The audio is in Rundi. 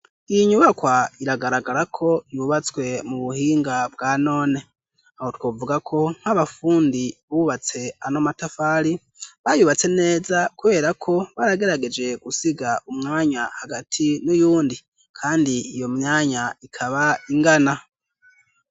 Iyi nyubakwa iragaragara ko yubatswe mu buhinga bwa none aho twovuga ko nk'abafundi bubatse anomatafari bayubatse neza kuberako baragerageje gusiga umwanya hagati n'uyundi, kandi iyo myanya ikaba ingana.